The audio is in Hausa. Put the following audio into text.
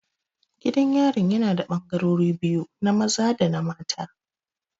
Gidan yarin yana da ɓangarori biyu, na maza dana maza